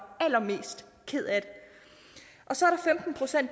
allermest ked af det så